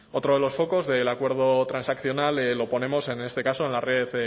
otro de los focos del acuerdo transaccional lo ponemos en este caso en la red